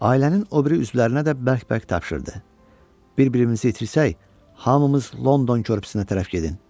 Ailənin o biri üzvlərinə də bərk-bərk tapşırdı: "Bir-birimizi itirsək, hamımız London körpüsünə tərəf gedin."